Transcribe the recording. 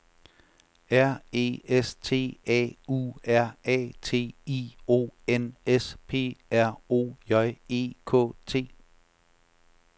R E S T A U R A T I O N S P R O J E K T